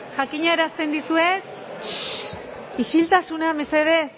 jakinarazten dizuet isiltasuna mesedez